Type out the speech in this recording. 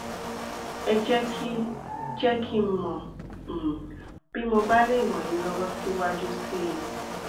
ẹ jẹ kí jẹ kí n mọ um bí mo bá lè ràn yín lọwọ síwájú sí i